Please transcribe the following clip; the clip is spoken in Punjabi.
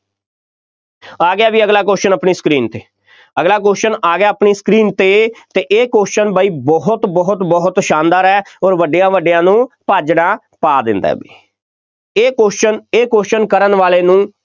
ਆ ਗਿਆ ਬਈ ਅਗਲਾ question ਆਪਣੀ screen 'ਤੇ, ਅਗਲਾ question ਆ ਗਿਆ ਆਪਣੀ screen 'ਤੇ, ਅਤੇ ਇਹ question ਬਈ ਬਹੁਤ ਬਹੁਤ ਬਹੁਤ ਸ਼ਾਨਦਾਰ ਹੈ ਅੋਰ ਵੱਡਿਆ ਵੱਡਿਆਂ ਨੂੰ ਭਾਜੜਾ ਪਾ ਦਿੰਦਾ ਬਈ, ਇਹ question ਇਹ question ਕਰਨ ਵਾਲੇ ਨੂੰ